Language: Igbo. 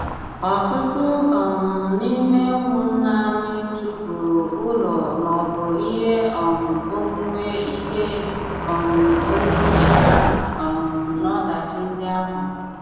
Ọ̀tụtụ̀ um n’ime ụmụ́nnà anyị tụfùrù ụlọ̀ ma ọ̀bụ̀ ihé um onwunwe ihé um onwunwe hà um n’ọdachi ndị áhụ.